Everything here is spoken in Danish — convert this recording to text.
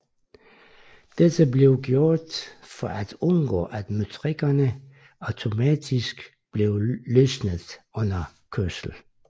Dette blev gjort for at undgå at møtrikkerne automatisk blev løsnet under kørslen